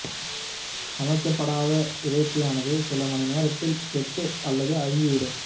சமைக்கப்படாத இறைச்சியானது சில மணி நேரத்தில் கெட்டு அல்லது அழுகி விடும்